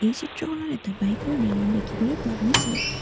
এই চিত্ৰখনত বাইক ৰ এটা ডিলাৰ দেখিবলৈ পোৱা গৈছে।